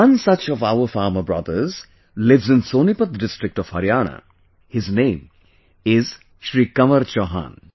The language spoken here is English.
One such of our farmer brother lives in Sonipat district of Haryana, his name is Shri Kanwar Chauhan